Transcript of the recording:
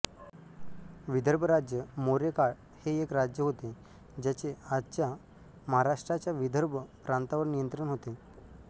विदर्भ राज्य मौर्य काळ हे एक राज्य होते ज्याचे आजच्या महाराष्ट्राच्या विदर्भ प्रांतावर नियंत्रण होते